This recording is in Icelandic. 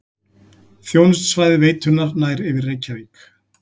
Þjónustusvæði veitunnar nær yfir Reykjavík